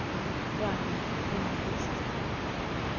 Ragnar Blomkvist